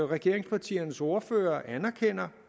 regeringspartiernes ordførere anerkender